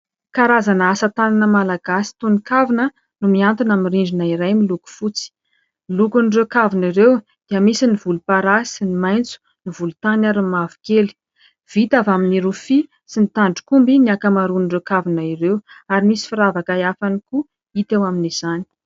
Karazana asa tanana malagasy toy ny kavina no miantona amin'ny rindrina iray miloko fotsy. Ny lokon'ireo kavina ireo dia misy ny volomparasy, ny maitso, ny volontany ary ny mavokely. Vita avy amin'ny rofia sy ny tandrok'omby ny ankamaroan'ireo kavina ireo ary misy firavaka hafa ihany koa hita eo amin'izany.